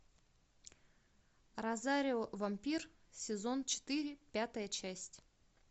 розарио вампир сезон четыре пятая часть